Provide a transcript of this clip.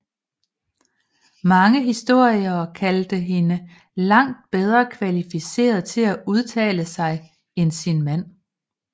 Mange historikere kaldte hende langt bedre kvalificeret til at udtale sig end sin mand